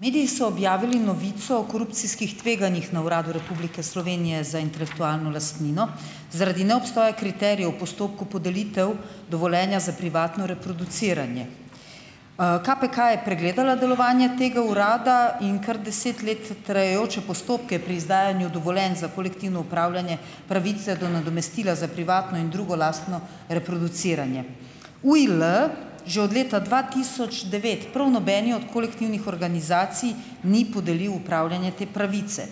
Mediji so objavili novico o korupcijskih tveganjih na Uradu Republike Slovenije za intelektualno lastnino, zaradi neobstoja kriterijev o postopku podelitev dovoljenja za privatno reproduciranje. KPK je pregledala delovanje tega urada in kar deset let trajajoče postopke pri izdajanju dovoljenj za kolektivno upravljanje pravice do nadomestila za privatno in drugo lastno reproduciranje. UIL že od leta dva tisoč devet prav nobeni od kolektivnih organizacij ni podelil upravljanje te pravice.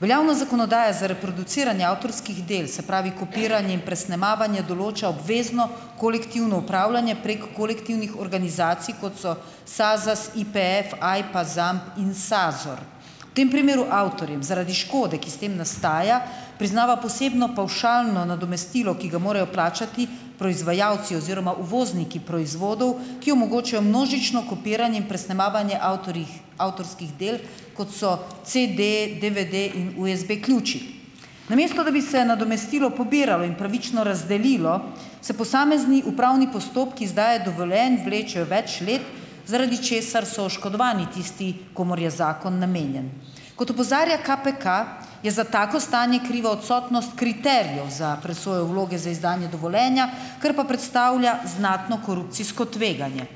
Veljavna zakonodaja za reproduciranje avtorskih del, se pravi kopiranje in presnemavanje, določa obvezno kolektivno upravljanje prek kolektivnih organizacij, kot so SAZAS, IPEF, AJPA, ZAMP in SAZOR. V tem primeru avtorjem zaradi škode, ki s tem nastaja, priznava posebno pavšalno nadomestilo, ki ga morajo plačati proizvajalci oziroma uvozniki proizvodov, ki omogočajo množično kopiranje in presnemavanje avtorjih avtorskih del kot so CD, DVD in USB-ključi. Namesto da bi se nadomestilo pobirali in pravično razdelilo, se posamezni upravni postopki izdaje dovoljenj vlečejo več let, zaradi česar so oškodovani tisti, komur je zakon namenjen. Kot opozarja KPK, je za tako stanje kriva odsotnost kriterijev za presojo vloge za izdajanje dovoljenja, kar pa predstavlja znatno korupcijsko tveganje.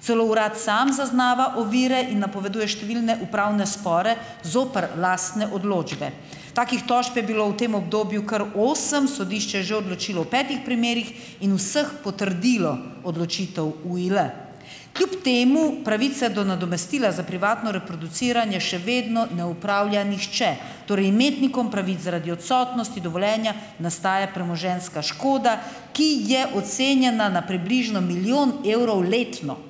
Celo urad sam zaznava ovire in napoveduje številne upravne spore zoper lastne odločbe. Takih tožb je bilo v tem obdobju kar osem. Sodišče je že odločilo v petih primerih. In v vseh potrdilo odločitev UIL. Kljub temu pravice do nadomestila za privatno reproduciranje še vedno ne upravlja nihče. Torej, imetnikom pravic zaradi odsotnosti dovoljenja nastaja premoženjska škoda, ki je ocenjena na približno milijon evrov letno.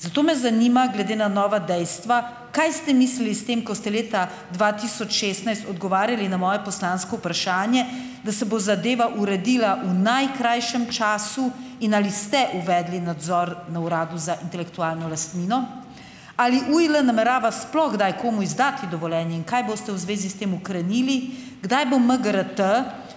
Zato me zanima, glede na nova dejstva, kaj ste mislili s tem, ko ste leta dva tisoč šestnajst odgovarjali na moje poslansko vprašanje, da se bo zadeva uredila v najkrajšem času. In ali ste uvedli nadzor na Uradu za intelektualno lastnino? Ali UIL namerava sploh kdaj komu izdati dovoljenje? In kaj boste v zvezi s tem ukrenili? Kdaj bo MGRT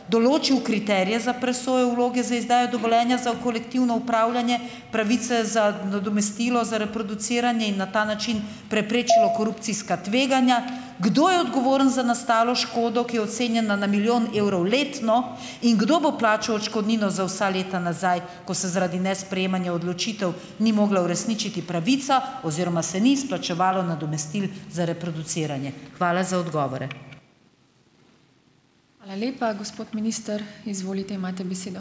določil kriterije za presojo vloge za izdajo dovoljenja za v kolektivno upravljanje pravice za nadomestilo za reproduciranje in na ta način preprečilo korupcijska tveganja? Kdo je odgovoren za nastalo škodo, ki je ocenjena na milijon evrov letno? In kdo bo plačal odškodnino za vsa leta nazaj, ko se zaradi nesprejemanja odločitev ni mogla uresničiti pravica oziroma se ni izplačevalo nadomestilo za reproduciranje? Hvala za odgovore.